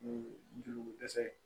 Juruko dɛsɛ ye